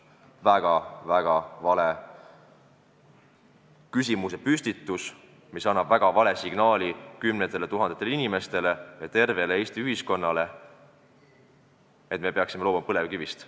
Väga-väga vale küsimuse püstitus, mis annab kümnetele tuhandetele inimestele ja tervele Eesti ühiskonnale väga vale signaali, et me peaksime loobuma põlevkivist.